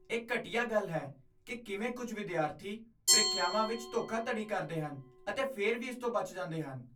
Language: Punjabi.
ਇਹ ਘਟੀਆ ਗੱਲ ਹੈ ਕਿ ਕਿਵੇਂ ਕੁਝ ਵਿਦਿਆਰਥੀ ਪ੍ਰੀਖਿਆਵਾਂ ਵਿੱਚ ਧੋਖਾਧੜੀ ਕਰਦੇ ਹਨ ਅਤੇ ਫਿਰ ਵੀ ਇਸ ਤੋਂ ਬਚ ਜਾਂਦੇ ਹਨ।